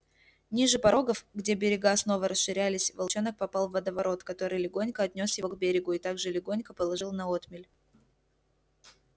ниже порогов где берега снова расширялись волчонок попал в водоворот который легонько отнёс его к берегу и так же легонько положил на отмель